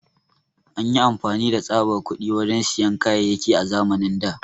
An yi amfani da tsaɓar kuɗi wajen siyan kayayaki a zamanin da.